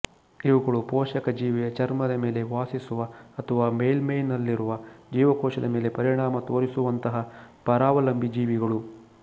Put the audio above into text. ಇವುಗಳು ಪೋಷಕ ಜೀವಿಯ ಚರ್ಮದ ಮೇಲೆ ವಾಸಿಸುವ ಅಥವಾ ಮೇಲ್ಮೈನಲ್ಲಿರುವ ಜೀವಕೋಶದ ಮೇಲೆ ಪರಿಣಾಮ ತೋರಿಸುವಂತಹ ಪರಾವಲಂಬಿ ಜೀವಿಗಳು